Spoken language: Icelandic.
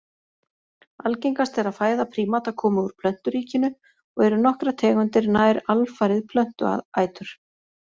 Algengast er að fæða prímata komi úr plönturíkinu og eru nokkrar tegundir nær alfarið plöntuætur.